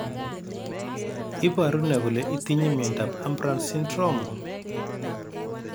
Iporu ne kole itinye miondap Ambras syndrome?